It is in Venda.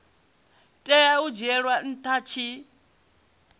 tea u dzhielwa nha tshi